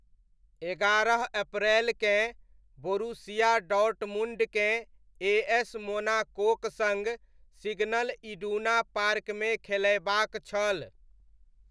एगारह अप्रैलकेँ बोरुसिया डॉर्टमुण्डकेँ एएस मोनाकोक सङ्ग सिग्नल इडुना पार्कमे खेलयबाक छल।